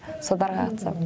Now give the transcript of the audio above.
содарға қатысам